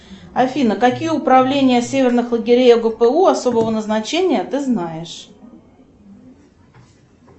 афина какие управления северных лагерей огпу особого назначения ты знаешь